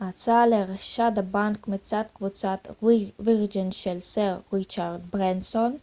הצעה לרכישת הבנק מצד קבוצת וירג'ן של סר ריצ'רד ברנסון